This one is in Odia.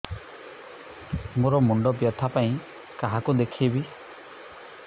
ମୋର ମୁଣ୍ଡ ବ୍ୟଥା ପାଇଁ କାହାକୁ ଦେଖେଇବି